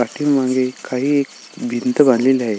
पाठीमागे काही एक भिंत बांधलेली आहे.